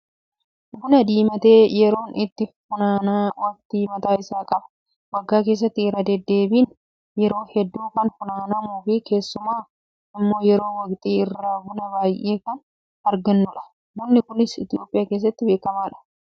Buna diimate yeroon itti funaanan waqtii mataa isaa qaba. Waggaa keessatti irra deddeebiin yeroo hedduu kan funaanamuu fi keessumaa immoo yeroo waqtii birraa buna baay'ee kan argannudha. Bunni kunis Itoophiyaa keessatti beekamaadha.